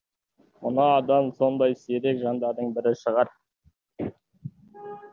мына адам сондай сирек жандардың бірі шығар